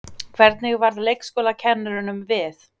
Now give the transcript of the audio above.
Hvernig varð leikskólakennurunum við?